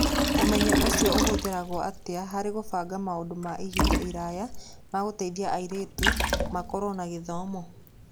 Ũmenyo ũcio ũhũthĩrĩtwo atĩa harĩ kũbanga maũndũ ma ihinda iraya ma gũteithia airĩtu makorũo na gĩthomo?